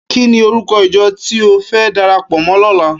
Kini órúkò ijò ti ó fè dàrápò mò lòlá?